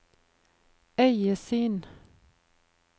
øyesyn